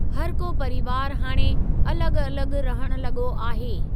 हर को परिवार हाणे अलॻ अलॻ रहण लॻो आहे।